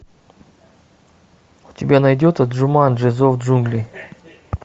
у тебя найдется джуманджи зов джунглей